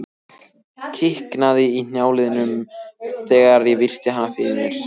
Kiknaði í hnjáliðunum þegar ég virti hann fyrir mér.